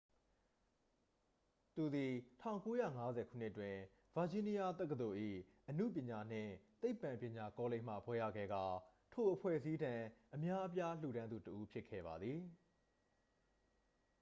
သူသည် 1950 ခုနှစ်တွင် ဗာဂျီးနီးယားတက္ကသိုလ်၏ အနုပညာနှင့် သိပ္ပံပညာကောလိပ်မှ ဘွဲ့ရခဲ့ကာ ထိုအဖွဲ့အစည်းထံ အများအပြားလှူဒါန်းသူတစ်ဦးဖြစ်ခဲ့ပါသည်